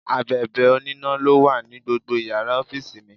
Abèbè oníná ló wà ní gbogbo Ìyàrá ọ́fíìsì mi.